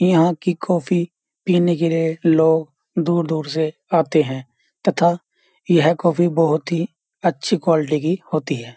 यहाँ की कॉफ़ी पीने के लिए लोग दूर-दूर से आते हैं तथा यह कॉफ़ी बहोत ही अच्छी क्वालिटी की होती है।